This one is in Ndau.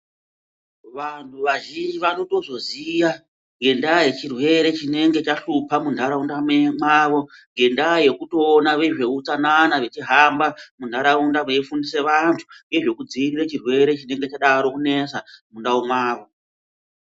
Vanthu vazhinji vanotozoziya ngendaa yechirwere chinenge chahlupa muntharaunda mwavo ngendaa yekutoona veutsanana vechihamba muntharaunda veifundisa vanthu ngezvekudziirira chirwere chinenge chadaro kunesa muntharaunda mwavo.